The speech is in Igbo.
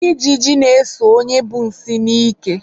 Ijiji na-eso onye bu nsị n'ike.